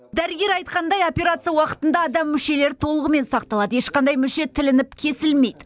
дәрігер айтқандай операция уақытында адам мүшелері толығымен сақталады ешқандай мүше тілініп кесілмейді